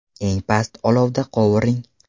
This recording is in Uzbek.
Eng past olovda qovuring.